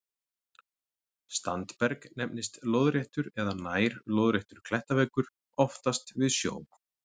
Standberg nefnist lóðréttur eða nær-lóðréttur klettaveggur, oftast við sjó.